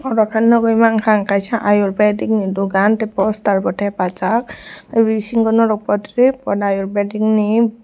aro ke nogoimankha ang kaisa ayurvedic ni dogan tei poster bo tepajak o binsingo norog portrip ayurvedic ni.